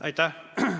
Aitäh!